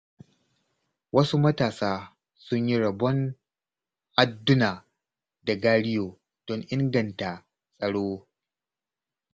Wasu matasa sun yi rabon adduna da gariyo, don inganta tsaro.